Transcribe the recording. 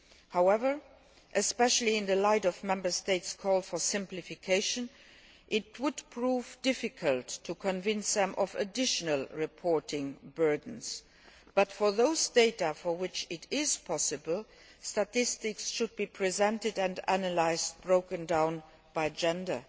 However, especially in the light of Member States' call for simplification, it would prove difficult to convince them of additional reporting burdens. But for those data for which it is possible, statistics should be presented and analysed, broken down by gender.